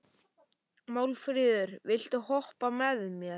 Málfríður, viltu hoppa með mér?